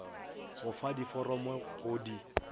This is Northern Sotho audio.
go fa diforomo go di